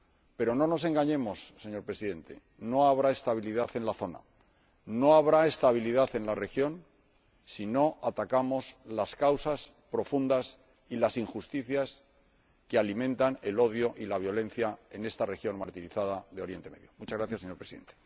Pero no nos engañemos, señor Presidente, no habrá estabilidad en la zona, no habrá estabilidad en la región, si no atacamos las causas profundas y las injusticias que alimentan el odio y la violencia en esta región martirizada de Oriente Próximo.